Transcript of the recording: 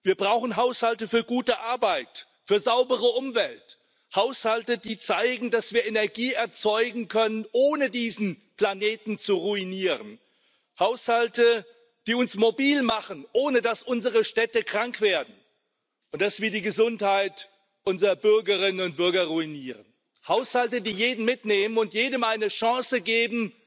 Wir brauchen Haushalte für gute Arbeit, für saubere Umwelt, Haushalte, die zeigen, dass wir Energie erzeugen können, ohne diesen Planeten zu ruinieren, Haushalte, die uns mobil machen, ohne dass unsere Städte krank werden und ohne dass wir die Gesundheit unserer Bürgerinnen und Bürger ruinieren, Haushalte, die jeden mitnehmen und jedem eine Chance geben,